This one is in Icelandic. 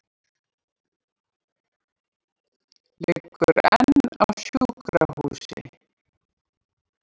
Liggur enn á sjúkrahúsi